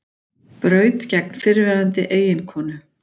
Braut gegn fyrrverandi eiginkonu